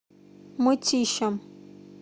мытищам